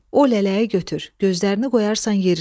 O lələyi götür, gözlərini qoyarsan yerinə.